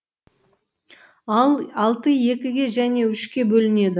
ал алты екіге және үшке бөлінеді